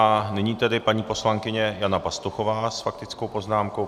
A nyní tedy paní poslankyně Jana Pastuchová s faktickou poznámkou.